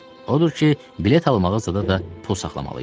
Odur ki, bilet almağa zada da pul saxlamalıydım.